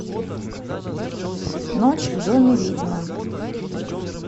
ночь в доме ведьмы